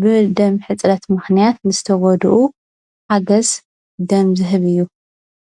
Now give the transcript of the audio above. ብደም ሕፅረት ምከንያት ዝተጎድኡ ሃገዝ ደም ዝህብ እዩ፡፡